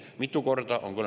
Mitu korda?